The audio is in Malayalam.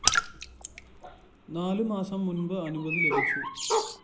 നാല് മാസം മുമ്പ് അനുമതി ലഭിച്ചു